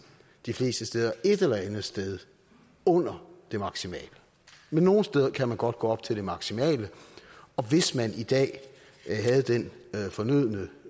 de fleste steder bliver et eller andet sted under det maksimale men nogle steder kan man godt gå op til det maksimale og hvis man i dag havde den fornødne